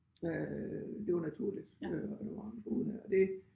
Øh det var naturligt og der var mange der boede der det